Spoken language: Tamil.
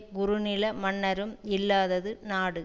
குறுநில மன்னரும் இல்லாதது நாடு